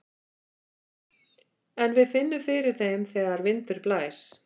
En við finnum fyrir þeim þegar vindur blæs.